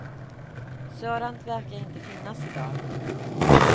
Sådant verkar inte finnas i dag.